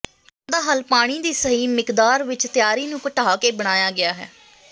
ਕੰਮ ਦਾ ਹੱਲ ਪਾਣੀ ਦੀ ਸਹੀ ਮਿਕਦਾਰ ਵਿੱਚ ਤਿਆਰੀ ਨੂੰ ਘਟਾ ਕੇ ਬਣਾਇਆ ਗਿਆ ਹੈ